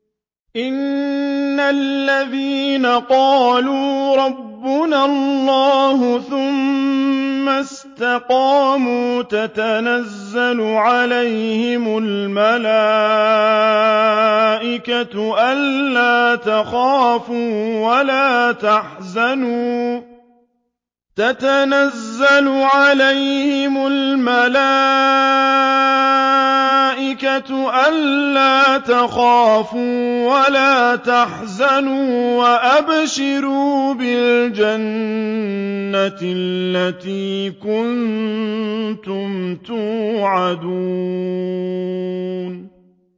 إِنَّ الَّذِينَ قَالُوا رَبُّنَا اللَّهُ ثُمَّ اسْتَقَامُوا تَتَنَزَّلُ عَلَيْهِمُ الْمَلَائِكَةُ أَلَّا تَخَافُوا وَلَا تَحْزَنُوا وَأَبْشِرُوا بِالْجَنَّةِ الَّتِي كُنتُمْ تُوعَدُونَ